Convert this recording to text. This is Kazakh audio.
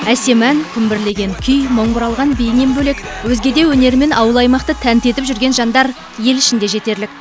әсем ән күмбірлеген күй мың бұралған биінен бөлек өзге де өнерімен ауыл аймақты тәнті етіп жүрген жандар ел ішінде жетерлік